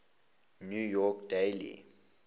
new york daily